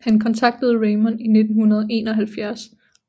Han kontaktede Raymond i 1971